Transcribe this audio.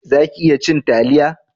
Za ki iya cin taliya?